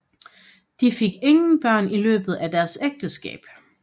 De fik ingen børn i løbet af deres ægteskab